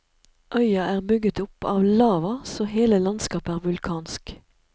Øya er bygget opp av lava, så hele landskapet er vulkansk.